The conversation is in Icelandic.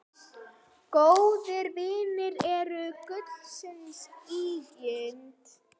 Góðir vinir eru gulls ígildi.